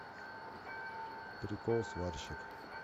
прикол сварщик